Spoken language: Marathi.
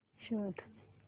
शोध